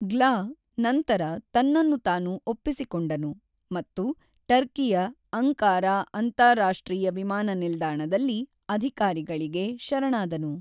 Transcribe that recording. ಗ್ಲ ನಂತರ ತನ್ನನ್ನು ತಾನು ಒಪ್ಪಿಸಿಕೊಂಡನು ಮತ್ತು ಟರ್ಕಿಯ ಅಂಕಾರಾ ಅಂತಾರಾಷ್ಟ್ರೀಯ ವಿಮಾನ ನಿಲ್ದಾಣದಲ್ಲಿ ಅಧಿಕಾರಿಗಳಿಗೆ ಶರಣಾದನು.